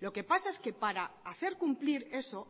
lo que pasa es que para hacer cumplir eso